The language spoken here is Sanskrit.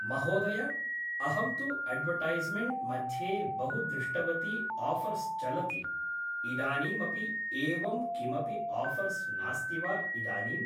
महोदय अहं तु अड्वर्टैस्मेन्ट् मध्ये बहु दृष्टवती आफ़र्स् चलति इदानीमपि एवं किमपि आफ़र्स् नास्ति वा इदानीं